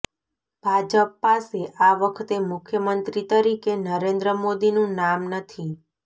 ભાજપ પાસે આ વખતે મુખ્યમંત્રી તરીકે નરેન્દ્ર મોદીનું નામ નથી